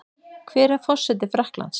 Hver er forseti Frakklands?